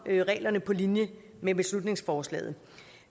reglerne på linje med beslutningsforslaget